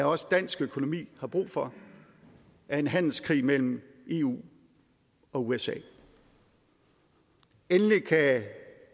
også dansk økonomi har brug for er en handelskrig mellem eu og usa endelig kan